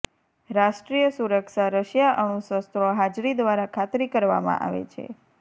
રાષ્ટ્રીય સુરક્ષા રશિયા અણુશસ્ત્રો હાજરી દ્વારા ખાતરી કરવામાં આવે છે